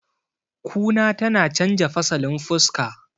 kuna tana canja fasalin fuska